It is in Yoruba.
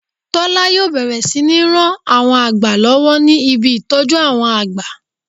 Tọ̀lá yíò bẹ̀rẹ̀ sí ní ran àwọn àgbà lọ́wọ́ ní ibi ìtọ́jú àwọn àgbà